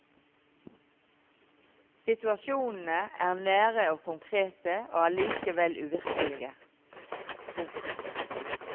Situasjonene er nære og konkrete og allikevel uvirkelige. punktum